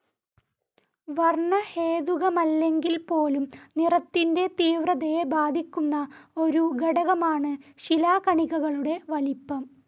വർണ്ണഹേതുകമല്ലെങ്കിൽപോലും നിറത്തിൻ്റെ തീവ്രതയെ ബാധിക്കുന്ന ഒരു ഘടകമാണ് ശിലാകണികകളുടെ വലിപ്പം.